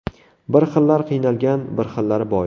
Bir xillar qiynalgan, bir xillari boy.